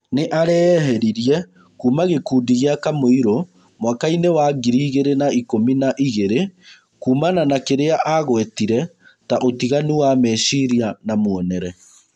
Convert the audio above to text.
Nĩ- areeheririe kuma gĩkundi gĩa Kamũirũmwakai-nĩ wa ngiri igĩrĩ na ikũmi na igĩrĩ. Kumana na kĩrĩa angwetire ta ũtiganu wa mecirĩa na mwonere.